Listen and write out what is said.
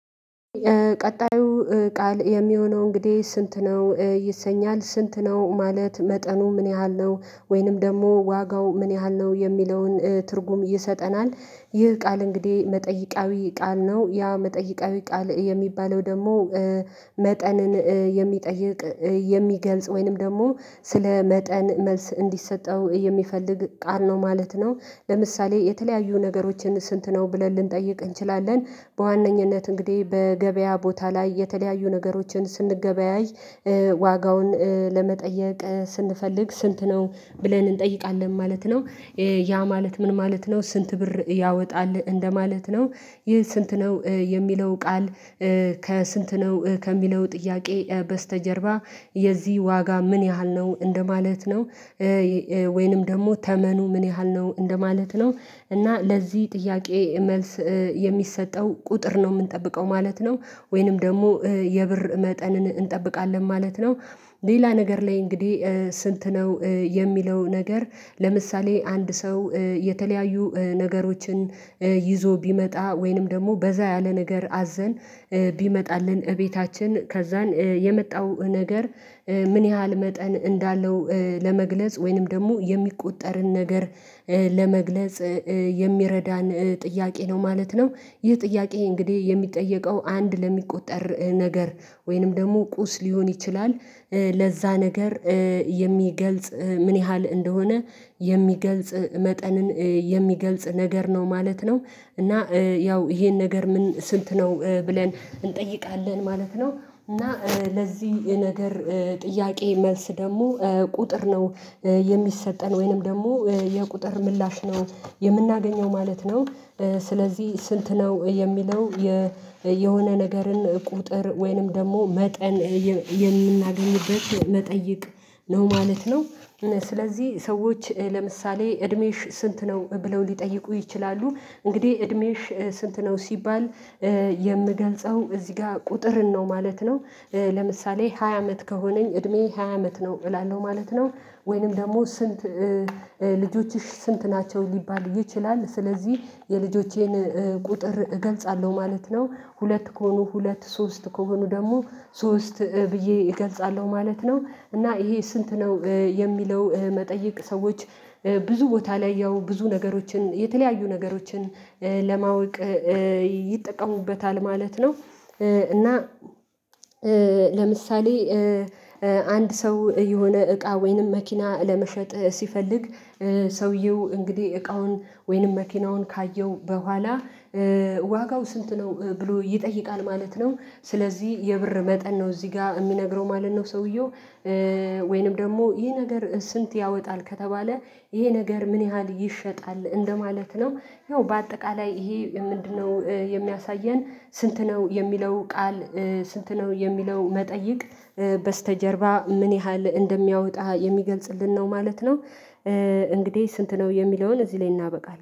ቀጣዩ ቃል የሚሆነው እንግዲህ ስንት ነው ይሰኛል። ስንት ነው ማለት መጠኑ ምን ያህል ነው ወይንም ደግሞ ዋጋው ምን ያህል ነው የሚለውን ትርጉም ይሰጠናል። ይህ ቃል እንግዲህ መጠይቃዊ ቃል ነው ያ መጠይቃዊ ቃል የሚባለው ደግሞ መጠንን የሚጠይቅ የሚገልጽ ወይንም ደግሞ ስለ መጠን መልስ እንዲሰጠው የሚፈልግ ቃል ነው ማለት ነው። ለምሳሌ የተለያዩ ነገሮችን ስንት ነው ብለን ልንጠይቅ እንችላለን። በዋነኝነት እንግዲህ በገበያ ቦታ ላይ የተለያዩ ነገሮችን ስንገበያይ ዋጋውን ለመጠየቅ ስንፈልግ ስንት ነው ብለን እንጠይቃለን ማለት ነው። ያ ማለት ምን ማለት ነው ስንት ብር ያወጣል እንደማለት ነው። ይህ ስንት ነው የሚለው ቃል ከስንት ነው ከሚለው ጥያቄ በስተጀርባ የዚህ ዋጋ ምን ያህል ነው እንደማለት ነው። ወይንም ደግሞ ተመኑ ምን ያህል ነው እንደማለት ነው እና ለዚህ ጥያቄ መልስ የሚሰጠው ቁጥር ነው የምንጠብቀው ማለት ነው፤ ወይንም ደግሞ የብር መጠንን እንጠብቃለን ማለት ነው። ሌላ ነገር ላይ እንግዲህ ስንት ነው የሚለው ነገር ለምሳሌ አንድ ሰው የተለያዩ ነገሮችን ይዞ ቢመጣ ወይንም ደግሞ በዛ ያለ ነገር አዘን ቢመጣልን እቤታችን ከዛን የመጣው ነገር ምን ያህል መጠን እንዳለው ለመግለጽ ወይንም ደግሞ የሚቆጠርን ነገር ለመግለጽ የሚረዳን ጥያቄ ነው ማለት ነው። ይህ ጥያቄ እንግዲህ የሚጠየቀው አንድ ለሚቆጠር ነገር ወይንም ደግሞ ቁስ ሊሆን ይችላል ለዛ ነገር የሚገልጽ ምን ያህል እንደሆነ የሚገልጽ መጠንን የሚገልጽ ነገር ነው ማለት ነው እና ያው ይሄን ነገር ምን ስንት ነው ብለን እንጠይቃለን ማለት ነው፤ እና ለዚህ ነገር ጥያቄ መልስ ደግሞ ቁጥር ነው። የሚሰጠን ወይንም ደግሞ የቁጥር ምላሽ ነው የምናገኘው ማለት ነው። ስለዚህ ስንት ነው የሚለው የሆነ ነገርን ቁጥር ወይንም ደግሞ መጠን የምናገኝበት መጠይቅ ነው ማለት ነው። ስለዚህ ሰዎች ለምሳሌ "እድሜሽ ስንት ነው?" ብለው ሊጠይቁ ይችላሉ። እንግዲህ "እድሜሽ ስንት ነው?" ሲባል የምገልጸው እዚህ ጋር ቁጥርን ነው ማለት ነው። ለምሳሌ ሃያ አመት ከሆነኝ እድሜዬ ሃያ አመት ነው እላለሁ ማለት ነው። ወይንም ደግሞ ስንት "ልጆችሽ ስንት ናቸው?" ሊባል ይችላል። ስለዚህ የልጆቼን ቁጥር እገልጻለሁ ማለት ነው። ሁለት ከሆኑ ሁለት ሶስት ከሆኑ ደግሞ ሶስት ብዬ እገልጻለሁ ማለት ነው። እና ይሄ ስንት ነው የሚለው መጠይቅ ሰዎች ብዙ ቦታ ላይ ያው ብዙ ነገሮችን የተለያዩ ነገሮችን ለማወቅ ይጠቀሙበታል ማለት ነው፤ እና ለምሳሌ አንድ ሰው የሆነ እቃ ወይንም መኪና ለመሸጥ ሲፈልግ ሰውየው እንግዲህ እቃውን ወይንም መኪናውን ካየው በኋላ "ዋጋው ስንት ነው?" ብሎ ይጠይቃል ማለት ነው። ስለዚህ የብር መጠን ነው እዚህ ጋር የሚነግረው ማለት ነው ሰውየው ወይንም ደግሞ "ይህ ነገር ስንት ያወጣል?" ከተባለ "ይሄ ነገር ምን ያህል ይሸጣል?" እንደማለት ነው። ያው በአጠቃላይ ይሄ ምንድነው የሚያሳየን ስንት ነው የሚለው ቃል ስንት ነው የሚለው መጠይቅ በስተጀርባ ምን ያህል እንደሚያወጣ የሚገልጽልን ነው ማለት ነው። እንግዲህ ስንት ነው የሚለውን እዚህ ላይ እናበቃለን።